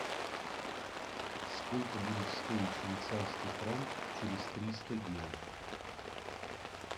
сколько будет стоить швейцарский франк через триста дня